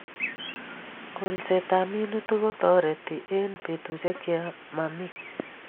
Kolset ab minutik ko tareti eng petushek che mami